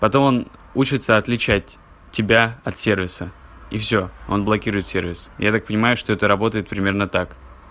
потом он учится отличать тебя от сервиса и всё он блокирует сервис я так понимаю что это работает примерно так